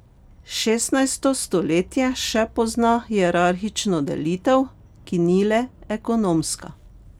Šestnajsto stoletje še pozna hierarhično delitev, ki ni le ekonomska.